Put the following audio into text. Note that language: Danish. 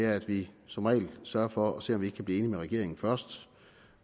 at vi som regel sørger for at se om vi ikke kan blive enige med regeringen først